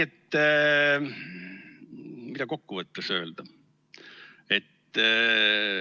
Mida kokku võttes öelda?